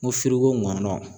N ko firigo ŋɔnɔn